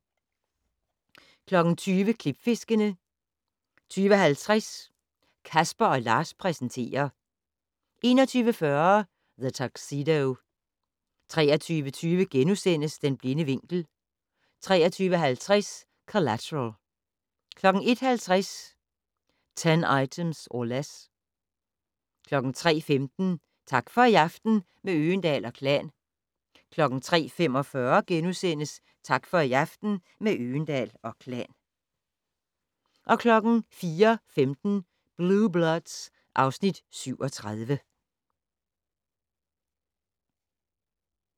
20:00: Klipfiskerne 20:50: Casper & Lars præsenterer 21:40: The Tuxedo 23:20: Den blinde vinkel * 23:50: Collateral 01:50: 10 Items or Less 03:15: Tak for i aften - med Øgendahl & Klan 03:45: Tak for i aften - med Øgendahl & Klan * 04:15: Blue Bloods (Afs. 37)